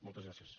moltes gràcies